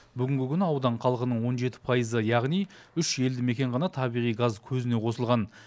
бүгінгі күні аудан халқының он жеті пайызы яғни үш елді мекен ғана табиғи газ көзіне қосылған